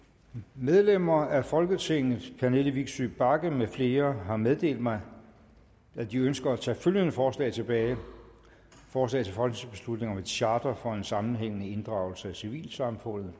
medlemmer af folketinget pernille vigsø bagge med flere har meddelt mig at de ønsker at tage følgende forslag tilbage forslag til folketingsbeslutning om et charter for en sammenhængende inddragelse af civilsamfundet